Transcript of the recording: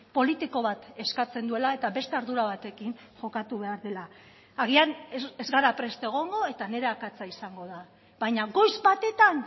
politiko bat eskatzen duela eta beste ardura batekin jokatu behar dela agian ez gara prest egongo eta nire akatsa izango da baina goiz batetan